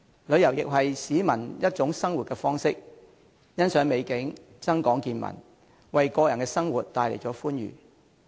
旅遊亦是市民的一種生活方式，欣賞美景，增廣見聞，為個人生活帶來歡愉。